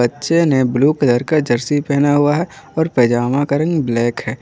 बच्चे ने blue colour का जर्सी पहने हुआ है और पैजामा का रंग ब्लैक है।